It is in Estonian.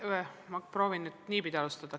Oeh, ma proovin nüüd alustada niipidi.